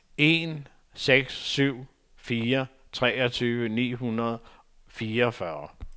en seks syv fire treogtyve ni hundrede og fireogfyrre